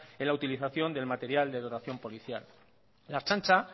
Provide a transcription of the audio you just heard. en la utilización del material de dotación policial la ertzaintza